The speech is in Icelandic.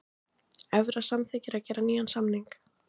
Evra samþykkir að gera nýjan samning